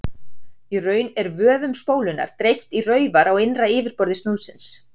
Í raun er vöfum spólunnar dreift í raufar á innra yfirborði snúðsins.